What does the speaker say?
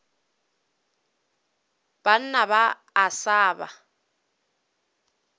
banna ba a sa ba